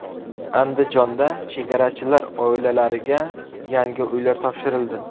Andijonda chegarachilar oilalariga yangi uylar topshirildi.